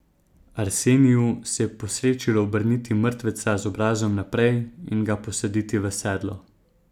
Arseniju se je posrečilo obrniti mrtveca z obrazom naprej in ga posaditi v sedlo.